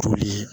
Toli